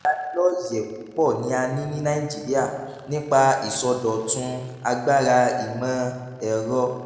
ìlanilọ́yẹ̀ púpọ̀ ni a ní ní nàìjíríà nípa ìsọdọ̀tun agbára ìmọ̀-ẹ̀rọ.